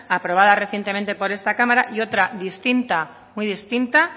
aprobada recientemente por esta cámara y otra distinta muy distinta